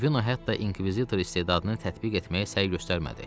Ravino hətta inkvizitor istedadını tətbiq etməyə səy göstərmədi.